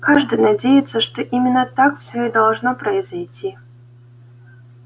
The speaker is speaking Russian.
каждый надеется что именно так всё и должно произойти